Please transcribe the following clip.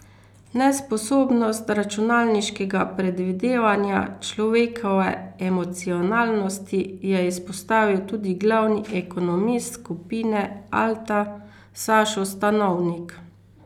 Nesposobnost računalniškega predvidevanja človekove emocionalnosti je izpostavil tudi glavni ekonomist skupine Alta Sašo Stanovnik.